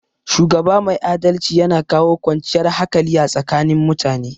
Shugaba mai adalci yana kawo kwanciyar hakali a tsakanin mutane